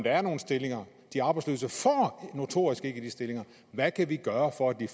er nogle stillinger de arbejdsløse får notorisk ikke de stillinger hvad kan vi gøre for at de